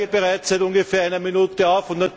Ich zeige bereits seit ungefähr einer Minute auf.